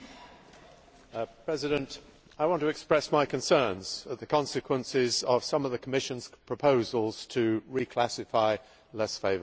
Mr President, I want to express my concerns at the consequences of some of the Commission's proposals to reclassify less favoured areas.